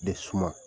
De suma